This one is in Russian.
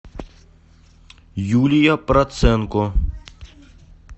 юлия проценко